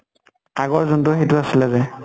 আগৰ যোন টো সেইটো আছিলে যে?